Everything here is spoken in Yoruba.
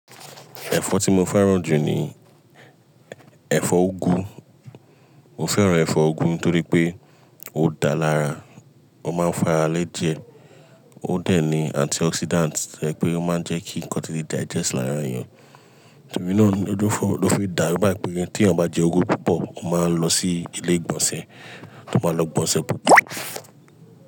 Ẹ̀fọ́ tí mo fẹ́ràn jù ni ẹ̀fọ́ úgú. Mo fẹ́ràn ẹ̀fọ́ úgú nítorí pé ó dáa lára, ó máa ń fara lé jẹ, ó dẹ̀ ní antioxidant, ẹ pé ó máa ń jẹ́ kí nnkan tí lé digest lára ènìyàn. Torí náà ni ojúúfọ́ ló fi dáru bẹ́ẹ̀ pé tí ènìyàn bá jẹ úgú púpọ̀ ó máa ń lọ sí ilé ìgbọ̀nsẹ̀, tó máa lọ gbọ̀nṣẹ̀ púpọ̀